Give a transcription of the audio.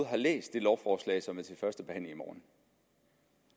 har læst det lovforslag som er til første behandling i morgen